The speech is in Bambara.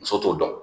Muso t'o dɔn